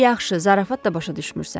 "Yaxşı, zarafat da başa düşmürsən.